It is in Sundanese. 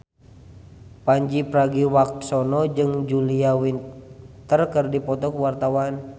Pandji Pragiwaksono jeung Julia Winter keur dipoto ku wartawan